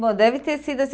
Bom, deve ter sido assim.